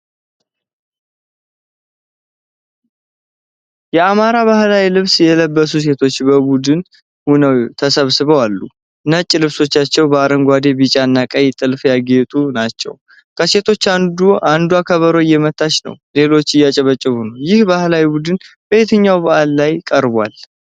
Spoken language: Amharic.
የአማራጭ ባሕላዊ ልብስ የለበሱ ሴቶች በቡድን ሆነው ተሰባስበው አሉ። ነጭ ልብሶቻቸው በአረንጓዴ፣ ቢጫና ቀይ ጥልፍ ያጌጡ ናቸው። ከሴቶቹ አንዷ ከበሮ እየመታች ነው ሌሎቹ እያጨበጨቡ ነው። ይህ የባሕል ቡድን በየትኛው በዓል ላይ ይቀርባል?